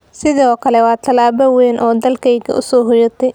sidoo kale waa tallaabo weyn oo dalkayga u soo hoyatay.